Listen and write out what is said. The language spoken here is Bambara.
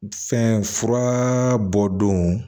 Fɛnfura bɔ don